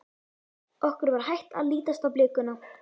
Okkur var hætt að lítast á blikuna.